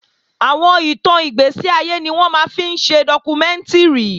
Àwọn ìtàn ìgbẹ̀séayé ni wọ́n máa ń fi ṣe dọ́kúmẹ́ǹtìrì